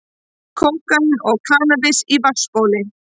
Kókaín og kannabis í vatnsbóli